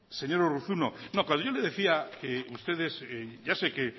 señor urruzuno cuando yo le decía que ustedes ya sé que